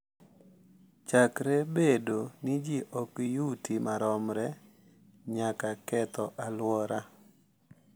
Chakre bedo ni ji ok yuti maromre nyaka ketho alwora,